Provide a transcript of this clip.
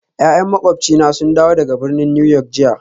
Ya'yan makwabcina sun dawo daga birnin New York jiya